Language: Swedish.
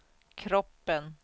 kroppen